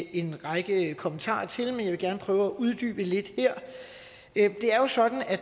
en række kommentarer til men jeg vil gerne prøve at uddybe det lidt det er jo sådan at